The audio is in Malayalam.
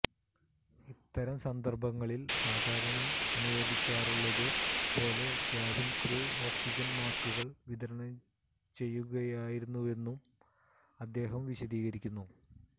ഇത്തരം സന്ദർഭങ്ങളിൽ സാധാരണ അനുവർത്തിക്കാറുള്ളത് പോലെ കാബിൻ ക്രൂ ഓക്സിജൻ മാസ്കുകൾ വിതരണം ചെയ്യുകയായിരുന്നുവെന്നും അദ്ദേഹം വിശദീകരിക്കുന്നു